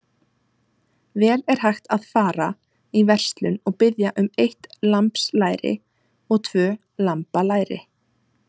Vel er hægt að fara í verslun og biðja um eitt lambslæri og tvö lambalæri.